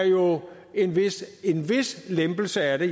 jo er en vis lempelse af det